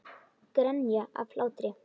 Grenja af hlátri.